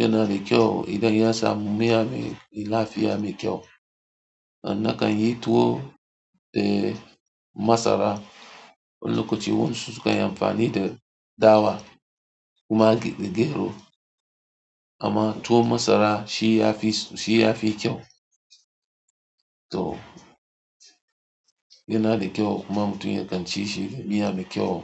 yana da kyau idan ya samu miya mai lafiya mai kyau. Amma kan yi tuwo da masara, wani lokacin wayansu sukan yi amfani da dawa kuma ake da gero. Amma tuwo masara shi ya fi, shi ya fi kyau. To yana da kyau kuma mutum ya kan ci shi da miya mai kyau.